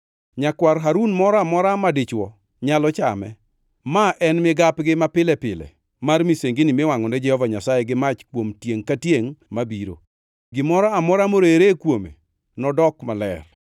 Nyakwar Harun moro amora madichwo nyalo chame. Ma en migapgi mapile pile mar misengini miwangʼo ne Jehova Nyasaye gi mach kuom tiengʼ ka tiengʼ mabiro. Gimoro amora morere kuome nodok maler.’ ”